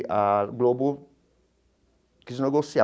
A Globo quis negociar.